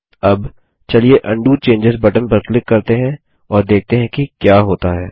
अब चलिए उंडो चेंजों बटन पर क्लिक करते हैं और देखते हैं क्या होता है